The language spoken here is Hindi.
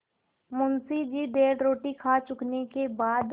मुंशी जी डेढ़ रोटी खा चुकने के बाद